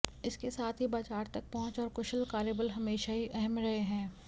इसके साथ ही बाजार तक पहुंच और कुशल कार्यबल हमेशा ही अहम रहे हैं